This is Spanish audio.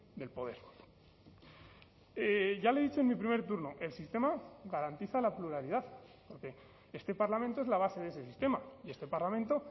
del poder ya le he dicho en mi primer turno el sistema garantiza la pluralidad porque este parlamento es la base de ese sistema y este parlamento